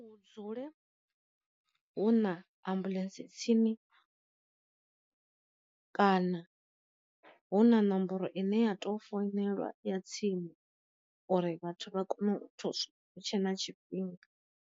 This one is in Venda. Hu dzule hu na ambuḽentse tsini kana hu na nomboro ine ya to founelwa ya tsini uri vhathu vha kone u hutshe na tshifhinga.